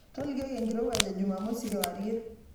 tolioki enkirowaj ejumamosi kewarie